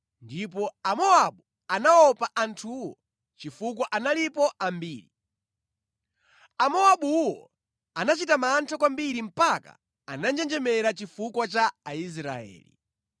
ndipo Amowabu anaopa anthuwo chifukwa analipo ambiri. Amowabuwo anachita mantha kwambiri mpaka ananjenjemera chifukwa cha Aisraeli.